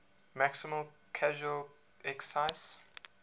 maximum casual excise